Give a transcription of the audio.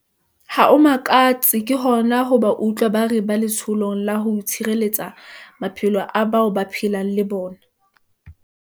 Ha ho makatse ke hona ho ba utlwa ba re ba letsholong la ho tshireletsa maphelo a bao ba phelang le bona.